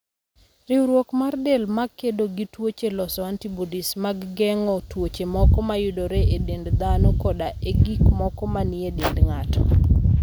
Riwruok mar del ma kedo gi tuoche loso antibodies mag geng'o tuoche moko mayudore e dend dhano koda e gik moko manie dend ng'ato.